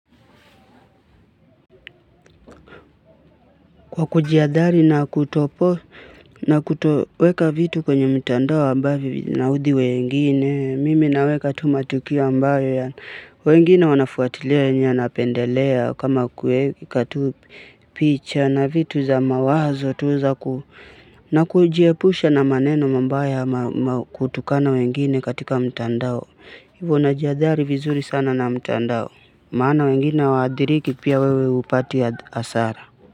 Kwa kuji hadhari na kutopo na kutoweka vitu kwenye mtandao ambavyo vina uthi wengine, mimi naweka tu matukio ambayo ya wengine wanafuatilia yenye anapendelea kama kuweka tu picha na vitu za mawazo tu za ku na kujiepusha na maneno mambaya ma ma kutukana wengine katika mtandao. Ivo najihadhari vizuri sana na mtandao. Maana wengine waadiriki pia wewe upati hasara.